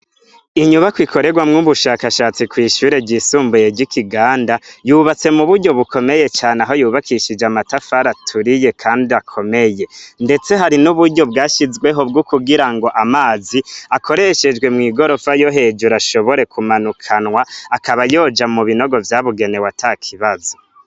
Inyubakwa ikorerwamwo ubushakashatsi kw'ishure ryisumbuye ry'i Kiganda, yubatse muburyo bukomeye cane aho yubakishijwe amatafari aturiye kandi akomeye; ndetse hari n'uburyo bwashizweho bwo kugirango amazi, akoreshejwe mw'igorofa yo hejuru ashobore kumanukanwa akaba yoja mu binogo vyabugenewe atakibazo.